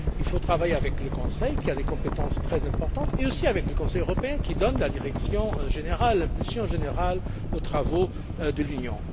Il faut travailler avec le Conseil qui a des compétences très importantes et aussi avec le Conseil européen qui donne la direction générale, l'impulsion générale aux travaux de l'Union.